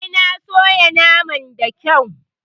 Eh, na soya naman da kyau.